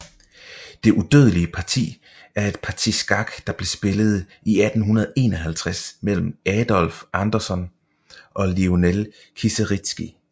Det udødelige parti er et parti skak der blev spillet i 1851 mellem Adolf Anderssen og Lionel Kieseritzky